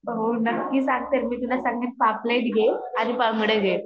हो नक्की सांगते मी तुला पापलेट घे आणि `unclear